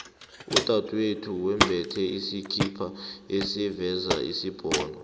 udadwethu wembethe isikhipa esiveza isibhono